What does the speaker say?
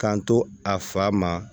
K'an to a fa ma